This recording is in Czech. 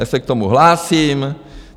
Já se k tomu hlásím.